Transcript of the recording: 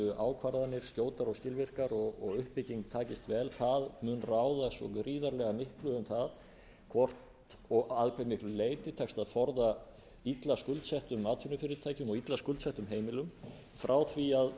ákvarðanir skjótar og skilvirkar og uppbygging takist vel það mun ráða svo gríðarlega miklu um það hvort og að hve miklu leyti tekst að forða illa skuldsettum atvinnufyrirtækjum og illa skuldsettum heimilum frá því að